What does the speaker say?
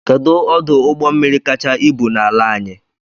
Kedụ ọdụ ụgbọmmiri kacha ibu n'ala anyị?